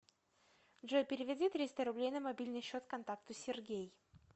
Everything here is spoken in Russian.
джой переведи триста рублей на мобильный счет контакту сергей